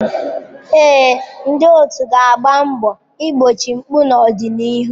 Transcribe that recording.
Ee, ndị otu ga-agba mbọ igbochi mpụ n'ọdịnihu.